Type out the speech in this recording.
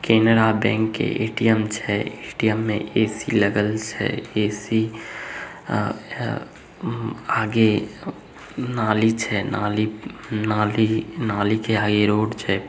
Canara bank के ATM छै ATM में ऐ.सी लगल छै ऐ.सी आगे नाली छै नाली नाली के आगे रोड छै।